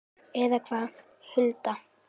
Eða hvað, Hulda?